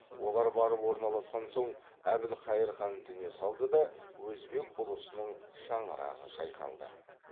олар барып орналасқан соң әбілхайыр хан дүние салды да өзбек ұлысының шаңырағы шайқалды